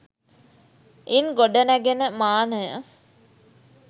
ඉන් ගොඩ නැගෙන මානය